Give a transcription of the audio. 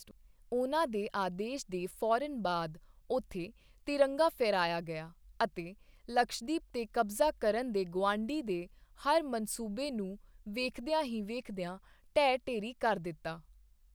ਉਨ੍ਹਾਂ ਦੇ ਆਦੇਸ਼ ਦੇ ਫੌਰਨ ਬਾਅਦ ਉੱਥੇ ਤਿਰੰਗਾ ਫਹਿਰਾਇਆ ਗਿਆ ਅਤੇ ਲਕਸ਼ਦੀਪ ਤੇ ਕਬਜ਼ਾ ਕਰਨ ਦੇ ਗੁਆਂਢੀ ਦੇ ਹਰ ਮਨਸੂਬੇ ਨੂੰ ਵੇਖਦਿਆਂ ਹੀ ਵੇਖਦਿਆਂ ਢਹਿ ਢੇਰੀ ਕਰ ਦਿੱਤਾ।